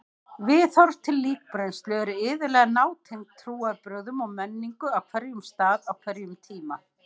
Viðhorf til líkbrennslu eru iðulega nátengd trúarbrögðum og menningu á hverjum stað á hverjum tíma.